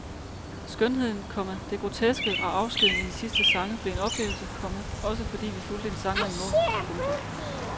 Skønheden, komma det groteske og afskeden i de sidste sange blev en oplevelse, komma også fordi vi fulgte en sanger i mål. punktum